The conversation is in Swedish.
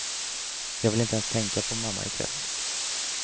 Jag vill inte ens tänka på mamma i kväll.